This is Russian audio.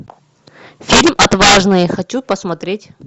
фильм отважные хочу посмотреть